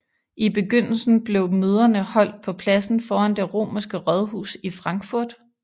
I begyndelsen blev møderne holdt på pladsen foran det romerske rådhus i Frankfurt